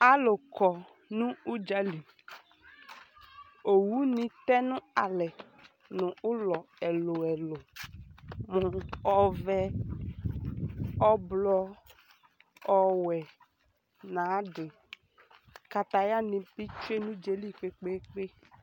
alo kɔ no udzali owu ni tɛ no alɛ no ulɔ ɛlo ɛlo ɔvɛ ublɔ ɔwɛ no ayi ade kataya ni bi tsue no udzaɛli kpekpekpe